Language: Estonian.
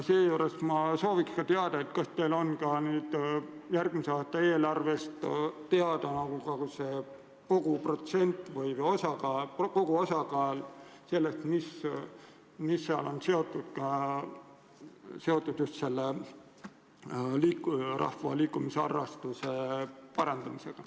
Ja kas teil on teada, kui suur protsent järgmise aasta eelarvest läheb rahva liikumisharrastuse edendamiseks?